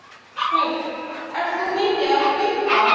Hödd: Ert þú mikið að hlaupa?